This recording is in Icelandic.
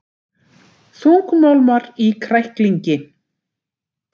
Þungmálmar í kræklingi